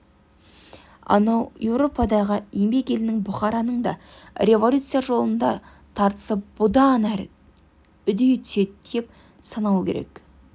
анау европадағы еңбек елінің бұқараның да революция жолындағы тартысы бұдан әрі үдей түседі деп санау керек